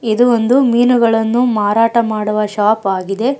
ಇದು ಒಂದು ಮೀನುಗಳನ್ನು ಮಾರಾಟ ಮಾಡುವ ಶಾಪ್ ಆಗಿದೆ.